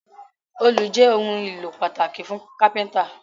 Òòlù jé òun ìlò pataki fun kápẹ́ńtà